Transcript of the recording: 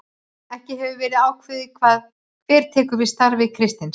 Ekki hefur verið ákveðið hver tekur við starfi Kristins.